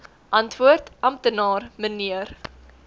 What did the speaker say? antwoord amptenaar mnr